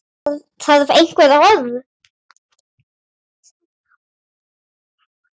Þarf einhver orð?